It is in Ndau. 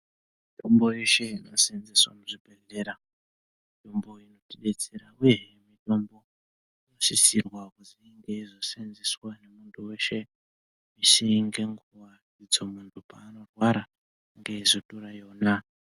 Mitombo yeshe inoseenzeswa muzvibhehlera mitombo inotidetsera uye mitombo inosisirwa kuzoshandiswa ngemunhu weshe misi ngenguwa kuti munhu paanorwara eizotora iyona.